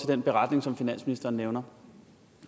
den beretning som finansministeren nævner